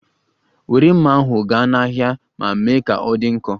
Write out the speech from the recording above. Were mma ahụ gaa n'ahịa ma mee ka ọ dị nkọ!